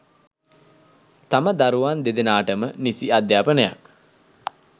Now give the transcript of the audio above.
තම දරුවන් දෙදෙනාටම නිසි අධ්‍යාපනයක්